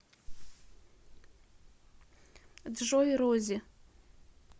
джой рози